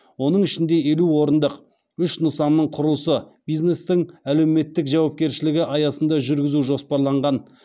оның ішінде елу орындық үш нысанның құрылысы бизнестің әлеуметтік жауапкершілігі аясында жүргізу жоспарланған